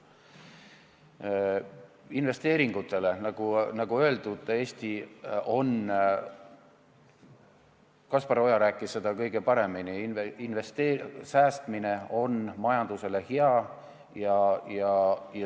Mis puutub investeeringutesse, siis Kaspar Oja rääkis seda kõige paremini, et säästmine on majandusele hea.